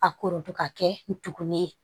A korodu ka kɛ ntugunin ye